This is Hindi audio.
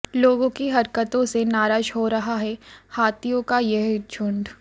लोगों की हरकतों से नाराज हो रहा है हाथियों का यह झूंड